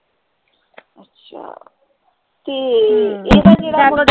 ਅੱਛਾ ਤੇ ਇਹਦਾ ਕਿਹੜਾ